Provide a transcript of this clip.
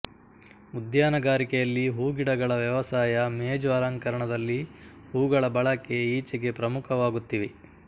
ಉದ್ಯಾನಗಾರಿಕೆಯಲ್ಲಿ ಹೂಗಿಡಗಳ ವ್ಯವಸಾಯ ಮೇಜು ಅಲಂಕರಣದಲ್ಲಿ ಹೂಗಳ ಬಳಕೆ ಈಚೆಗೆ ಪ್ರಮುಖವಾಗುತ್ತಿವೆ